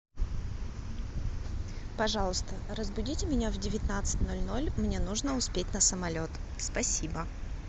пожалуйста разбудите меня в девятнадцать ноль ноль мне нужно успеть на самолет спасибо